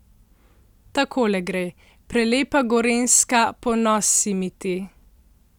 Takole gre: 'Prelepa Gorenjska, ponos si mi ti!